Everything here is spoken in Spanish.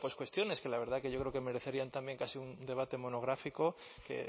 cuestiones que la verdad que yo creo que merecerían casi un debate monográfico que